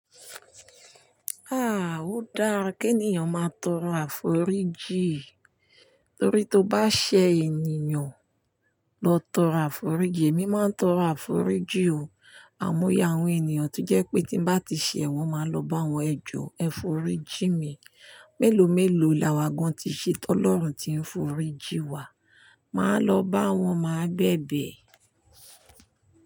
Ah! Ó dára kí ènìyàn máa tọrọ àforíjì torí tó bá ṣẹ ènìyàn, lọ tọrọ àforíjì. Èmi máa ń tọrọ àforíjì o, àmọ́nye àwọn ènìyàn tó jẹ́ pé tí n bá ti ṣẹ̀ wọ́n, màá lọ bá wọn, "Ẹ jọ̀ọ́, ẹ fọrí jìn mi." Mélòómélòó là wá gan-an tí í ṣe t'Ọlọ́run tí ń f'oríjì wa, màá lọ bá wọn máa bẹ̀bẹ̀.